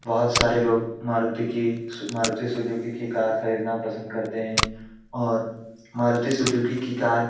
बहुत सारे लोग मारुती की मारुती सुजुकी की कार खरीदना पसंद करते है और मारुती सुजुकी की कार --